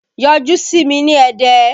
Yọjú sí mi ní Ẹdẹ!